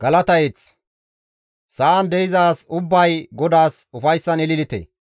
Sa7an de7iza as ubbay GODAAS ufayssan ililite.